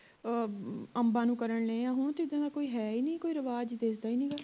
ਅਹ ਅੰਬਾਂ ਨੂੰ ਕਰਨ ਲਏ ਆਂ ਹੁਣ ਤੇ ਜਿਵੇਂ ਕੋਈ ਹੈ ਹੀ ਨਹੀਂ ਰਿਵਾਜ ਦਿਸਦਾ ਹੀ ਨਹੀਂ ਗਾ